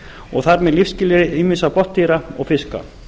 og þar með lífsskilyrði ýmissa botndýra og fiska